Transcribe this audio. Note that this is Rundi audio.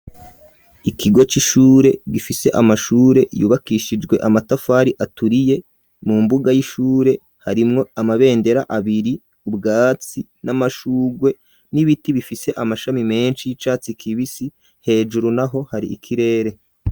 Ikigo c'ishure gifise amashure yubakishijwe amatafari aturiye, mu mbuga y'ishure harimwo amabendera abiri ,ubwatsi n'amashugwe n'ibiti bifise amashami menshi y'icatsi kibisi, hejuru naho hari ikirere.